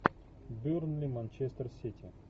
бернли манчестер сити